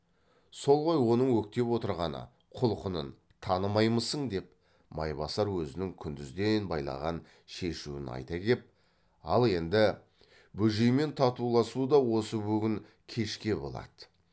сол ғой оның өктеп отырғаны құлқынын танымаймысың деп майбасар өзінің күндізден байлаған шешуін айта кеп ал енді бөжеймен татуласу да осы бүгін кешке болады